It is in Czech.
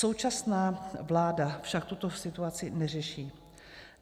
Současná vláda však tuto situaci neřeší.